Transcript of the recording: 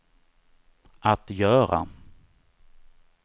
att göra